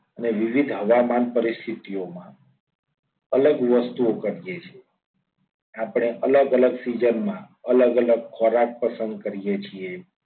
અને વિવિધ હવામાન પરિસ્થિતિમા અલગ વસ્તુઓ કરીએ છીએ. આપણે અલગ અલગ season માં અલગ અલગ ખોરાક પસંદ કરીએ છીએ.